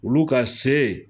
Olu ka se